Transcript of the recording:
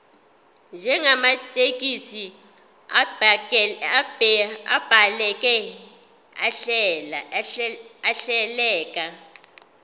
njengamathekisthi abhaleke ahleleka